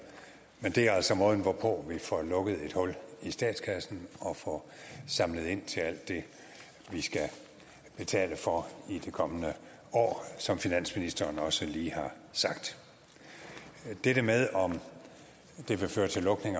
men det er altså måden hvorpå vi får lukket et hul i statskassen og får samlet ind til alt det vi skal betale for i de kommende år som finansministeren også lige har sagt dette med om det vil føre til lukning